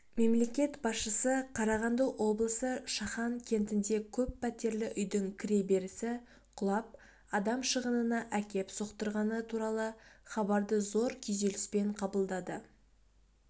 мемлекет басшысы қарағанды облысы шахан кентінде көп пәтерлі үйдің кіреберісі құлап адам шығынына әкеп соқтырғаны туралы хабарды зор күйзеліспен қабылдады